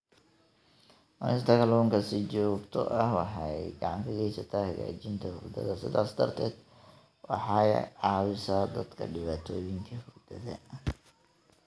Cunista kalluunka si joogto ah waxay gacan ka geysataa hagaajinta hurdada, sidaas darteed waxay caawisaa dadka dhibaatooyinka hurdada.